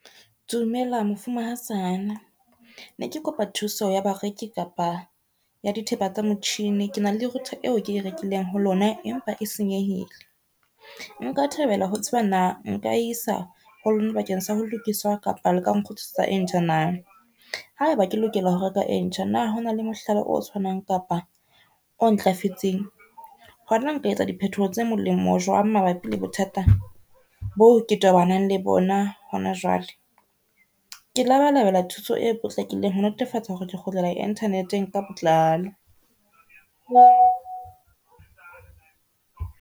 Dumela mafumahatsana ne ke kopa thuso ya bareki kapa ya dithepa tsa motjhini ke na le router eo ke e rekileng ho lona, empa e senyehile. Nka thabela ho tseba na nka isa ho lona bakeng sa ho lokiswa kapa le ka nkgutlisetsa e ntjha na? Haeba ke lokela ho reka e ntjha, na hona le mohlala o tshwanang kapa o ntlafetseng hona nka etsa diphetoho tse molemo jwang mabapi le bothata boo ke tobanang le bona hona jwale, ke labalabela ho thola thuso e potlakileng ho netefatsa hore ke kgutlela Internet-eng ka botlalo.